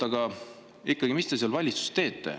Aga huvitav, mida te seal valitsuses teete.